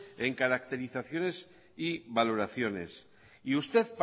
en caracterizaciones y valoraciones y usted